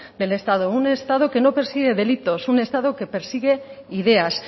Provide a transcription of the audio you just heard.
del estado un estado que no persigue delitos un estado que persigue ideas